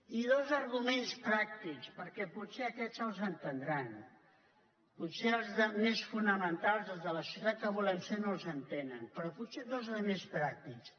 i dos arguments pràctics perquè potser aquests els entendran potser els més fonamentals els de la societat que volem ser no els entenen però potser dos de més pràctics